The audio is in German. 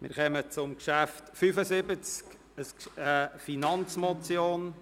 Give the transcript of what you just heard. Wir kommen zu Traktandum 75, einer Finanzmotion.